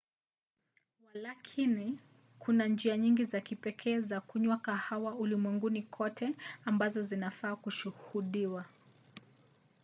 walakini kuna njia nyingi za kipekee za kunywa kahawa ulimwenguni kote ambazo zinafaa kushuhudiwa